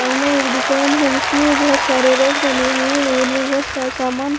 सामने एक दुकान है जिसमे बहोत सारे रैक बने हुए है जो बहोत सारे सामान--